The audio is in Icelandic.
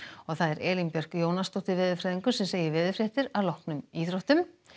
Elín Björk Jónasdóttir veðurfræðingur segir veðurfréttir að loknum íþróttum